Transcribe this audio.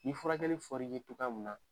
Ni furakɛli fɔr'i ye k'i ka